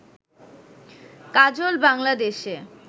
কাজল বাংলাদেশে